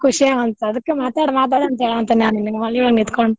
ಖುಷಿ ಅದಕ್ಕ್ ಮಾತಾಡ್ ಮಾತಾಡ ಅಂತ ಹೇಳಾಂತೇನಿ ನಾ ನಿನಗ್ ಮನಿಯೊಳಗ ನಿಂತ್ಕೊಂಡ್.